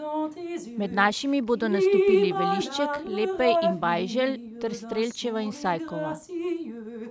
Med našimi bodo nastopili Velišček, Lepej in Bajželj ter Strelčeva in Sajkova.